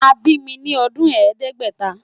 A bi mi ni ọdun Ẹẹdẹgbẹta